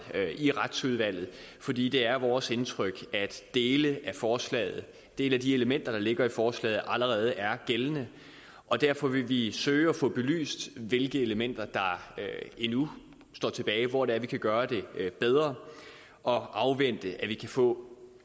i retsudvalget fordi det er vores indtryk at dele af forslaget dele af de elementer der ligger i forslaget allerede er gældende derfor vil vi søge at få belyst hvilke elementer der endnu står tilbage altså hvor det er vi kan gøre det bedre og afvente at vi kan få